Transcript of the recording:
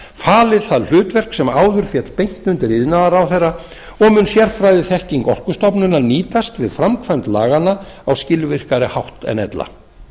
falið það hlutverk sem áður féll beint undir iðnaðarráðherra og mun sérfræðiþekking orkustofnunar nýtast við framkvæmd laganna á skilvirkari hátt en ella